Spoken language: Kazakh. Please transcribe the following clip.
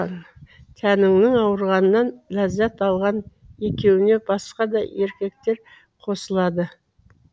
тәніңнің ауырғанынан ләззат алған екеуіне басқа да еркектер қосылады